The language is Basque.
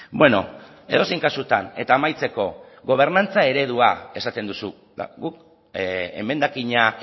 bueno edozein kasutan eta amaitzeko gobernantza eredua esaten duzu guk emendakina